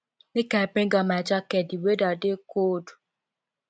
make i bring out my jacket di weather dey cold